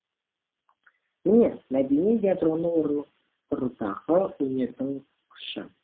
міне мәдени ядроны орнықтырудағы өнердің күші